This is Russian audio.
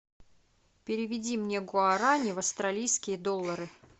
переведи мне гуарани в австралийские доллары